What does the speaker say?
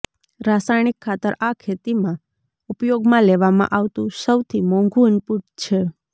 રાસાયણિક ખાતર આ ખેતીમાં ઉપયોગમાં લેવામાં આવતું સૈાથી મોંઘુ ઇનપુટ છે